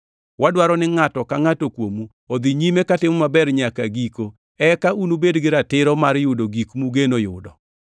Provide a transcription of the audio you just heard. Wadwaro ni ngʼato ka ngʼato kuomu odhi nyime katimo maber nyaka giko, eka ubed gi ratiro mar yudo gik mugeno yudo.